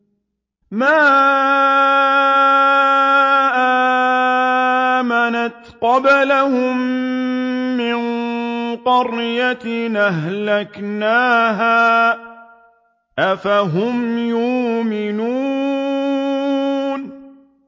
مَا آمَنَتْ قَبْلَهُم مِّن قَرْيَةٍ أَهْلَكْنَاهَا ۖ أَفَهُمْ يُؤْمِنُونَ